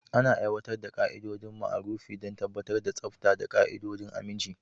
Ana aiwatar da ƙa'idodin marufi don tabbatar da tsafta da ƙa'idodin aminci.